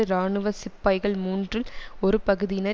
இராணுவ சிப்பாய்கள் மூன்றில் ஒரு பகுதியினர்